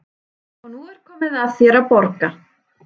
Og nú er komið að þér að borga.